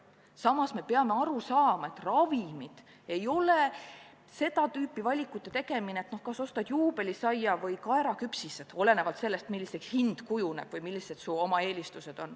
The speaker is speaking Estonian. Samas me peame aru saama, et ravimite ost ei ole seda tüüpi valikute tegemine, et kas ostad Juubelisaia või kaeraküpsised – olenevalt sellest, milline on hind või millised on su eelistused.